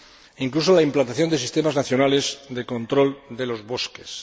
e incluso la implantación de sistemas nacionales de control de los bosques.